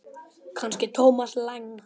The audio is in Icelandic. Kannski Thomas Lang?